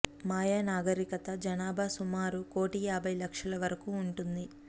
మయా నాగరికత జనాభా సుమారు కోటి యాభై లక్షల వరకు ఉంటుంది